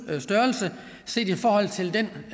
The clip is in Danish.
størrelse set i forhold til den